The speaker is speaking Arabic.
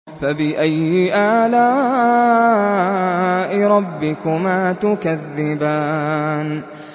فَبِأَيِّ آلَاءِ رَبِّكُمَا تُكَذِّبَانِ